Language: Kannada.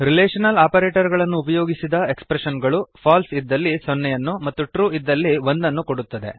ರಿಲೇಶನಲ್ ಆಪರೇಟರ್ ಗಳನ್ನು ಉಪಯೋಗಿಸಿದ ಎಕ್ಸ್ಪ್ರೆಶನ್ ಗಳು ಫಾಲ್ಸ್ ಇದ್ದಲ್ಲಿ ಸೊನ್ನೆಯನ್ನು ಮತ್ತು ಟ್ರು ಇದ್ದಲ್ಲಿ ಒಂದನ್ನು ಕೊಡುತ್ತದೆ